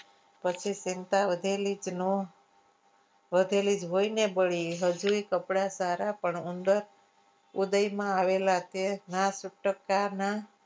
પછી ચિંતા વધેલી કે નો વધેલી જ હોય ને વળી હજુએ કપડાં સારા પણ ઉંદર ઉદયમાં આવેલા છે.